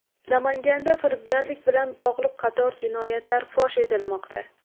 Namanganda firibgarlik bilan bog‘liq qator jinoyatlar fosh etilmoqda.